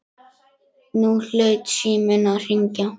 Nú hlaut síminn að fara að hringja.